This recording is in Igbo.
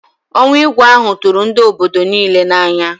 Ọnwụ Igwe ahụ tụrụ ndị obodo niile n'anya